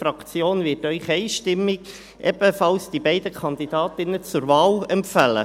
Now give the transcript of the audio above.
Die Fraktion wird Ihnen die beiden Kandidatinnen ebenfalls einstimmig zur Wahl empfehlen.